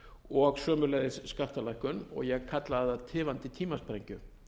og sömuleiðis skattalækkun og ég kallaði það tifandi tímasprengju